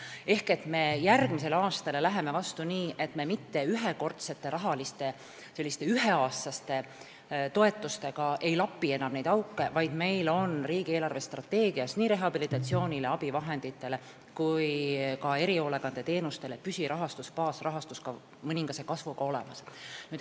Me läheme järgmisele aastale vastu nii, et me mitte ei lapi enam auke ühekordsete, üheaastaste toetustega, vaid meil on riigi eelarvestrateegias nii rehabilitatsioonile, abivahenditele kui ka erihoolekandeteenustele olemas mõningase kasvuga püsirahastus, baasrahastus.